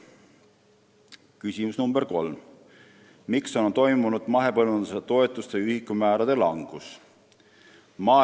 Küsimus nr 3: "Miks on toimunud mahepõllumajanduse toetuste ühikumäärade langus?